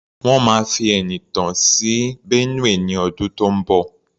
Wọ́n máa fi Ẹniìtàn sí Benue ní ọdún tó ń bọ̀.